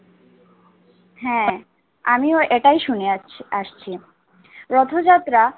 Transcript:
হ্যাঁ আমিও এটাই শুনে আসছি আসছি। রথযাত্রা